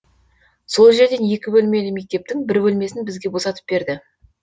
сол жерден екі бөлмелі мектептің бір бөлмесін бізге босатып берді